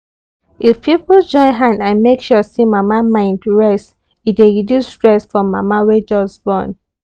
if people join hand and make sure say mama mind rest e dey reduce stress for mama wey just born